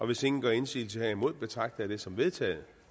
hvis ingen gør indsigelse herimod betragter jeg det som vedtaget